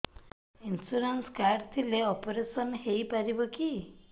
insurance card ଥିଲେ operation ହେଇପାରିବ କି